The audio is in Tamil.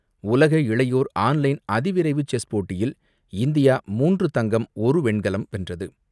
உலக இளையோர் ஆன் லைன் அதிவிரைவு செஸ் போட்டியில் இந்தியா மூன்று தங்கம், ஒரு வெண்கலம் வென்றது.